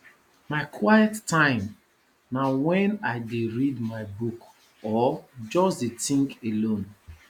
my quiet time na wen i dey read my book or just dey tink alone